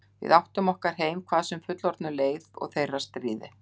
Við áttum okkar heim, hvað sem fullorðnum leið og þeirra stríði.